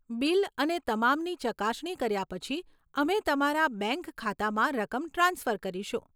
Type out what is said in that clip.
Bill અને તમામની ચકાસણી કર્યા પછી, અમે તમારા બેંક ખાતામાં રકમ ટ્રાન્સફર કરીશું.